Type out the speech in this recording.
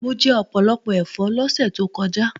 Mo jẹ ọ̀pọ̀lọpọ̀ ẹ̀fọ́ lọ́sẹ̀ tó kọjá